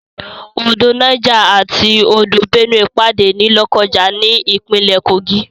Odò Niger àti odò Benue pàdé ní Lọ́kọ́ja ní ìpínlè Kogi.